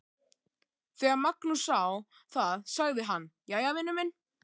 Þegar Magnús sá það sagði hann: Jæja, vinur minn.